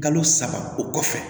Kalo saba o kɔfɛ